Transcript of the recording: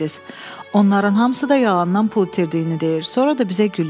Onların hamısı da yalandan pul itirdiyini deyir, sonra da bizə gülür.